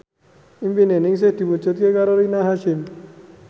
impine Ningsih diwujudke karo Rina Hasyim